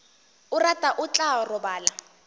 a rata o tla robala